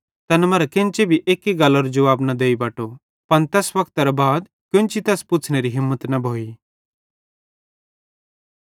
तैन मरां केन्चे भी एक्की गल्लरो जुवाब न देइ बटो पन तैस वक्तेरे बाद फिरी कोन्ची तैस पुच़्छ़नेरी हिम्मत न भोइ